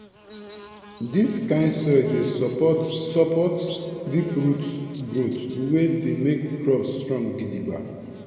dis kind soil dey support support deep root growth wey dey make crops strong gidigba